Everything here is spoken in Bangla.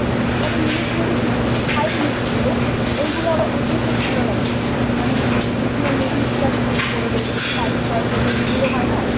তবে english movie কিছু কিছু fight movie গুলো গুলো আবার দেখতে খুব ভালো লাগে, মানে যে গুলো ladies রা করে ladies ফাইটার যেই movie গুলো হয় না